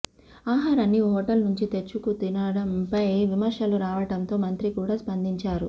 ఆహారాన్ని హోటల్ నుంచి తెచ్చుకు తినడంపై విమర్శలు రావడంతో మంత్రి కూడా స్పందించారు